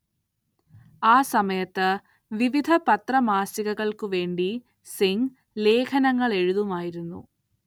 ആ സമയത്ത് വിവിധ പത്രമാസികകൾക്കുവേണ്ടി സിംഗ് ലേഖനങ്ങളെഴുതുമായിരുന്നു.